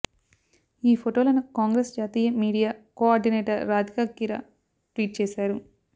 ఈ ఫోటోలను కాంగ్రెస్ జాతీయ media coordinator Radhika Khera tweet చేశారు